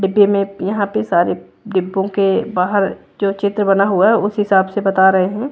डिब्बे में यहाँ पे सारे डिब्बों के बाहर जो चित्र बना हुआ है उस हिसाब से बता रही हूं।